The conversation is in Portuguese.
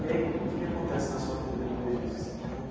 E aí, o que acontece na sua vida depois disso assim como que?